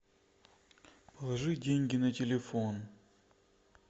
положи деньги на телефон